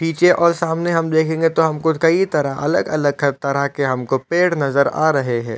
पीछे और सामने हम दिखेगे तो हमको कई तरह अलग-अलग क तरह हमको पेड़ नज़र आ रहै है।